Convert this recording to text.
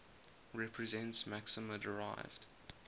represents maxima derived